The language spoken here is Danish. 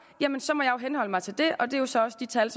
må jeg henholde mig til det og det er så også de tal